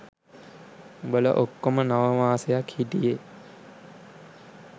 උඹලා ඔක්කෝම නව මාසයක් හිටියෙ.